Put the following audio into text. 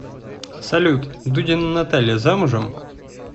салют дудина наталья замужем